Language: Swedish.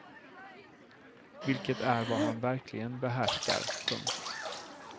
Vilket är vad han verkligen behärskar. punkt